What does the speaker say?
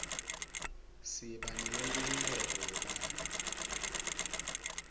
siba neyenkhululeko yebantfu